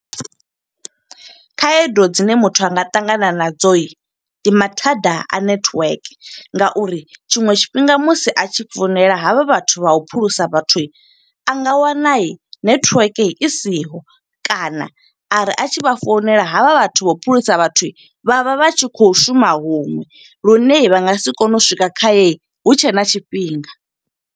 Khaedu dzine muthu anga ṱangana nadzo, ndi mathada a network nga uri tshiṅwe tshifhinga musi a tshi founela havha vhathu vha u phulusa vhathu. A nga wana netiweke i siho, kana ari a tshi vha founela ha vha vhathu vho phulusa vhathu, vha vha vha tshi khou shuma huṅwe. Lune vha nga si kone u swika kha ye, hu tshe na tshifhinga.